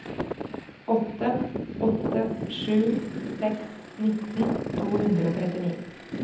åtte åtte sju seks nitten to hundre og trettini